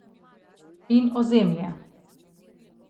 In ozemlje.